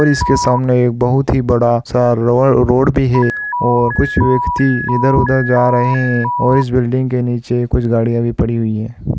और इसके सामने एक बहुत ही बड़ा सा रोड भी है और कुछ व्यक्ति इधर-उधर जा रहे हैं और इस बिल्डिंग नीचे कुछ गाड़ियां भी पड़ी हुई है।